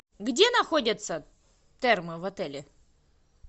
где находятся термы в отеле